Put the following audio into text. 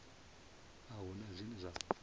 a hu na zwine zwa